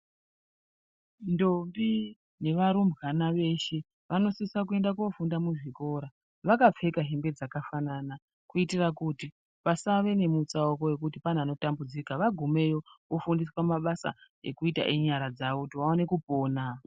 Ndombi nevarumbwana vashe vanosisa koenda kofunda muzvikora vakapfeka hembe dzakafanana. Kuitira kuti pasave nemutsauko vekuti pane anotambudzika vagumeyo vofundiswa mabasa ekuita enyara dzavo kuti vaone kupona.